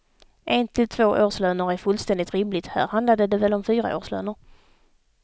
En till två årslöner är fullständigt rimligt, här handlade det väl om fyra årslöner.